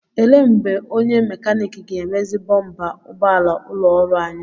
Ele mgbe onye mekanik ga-emezi bọmpa ụgbọala ụlọ ọrụ anyị?